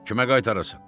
Kimə qaytarasan?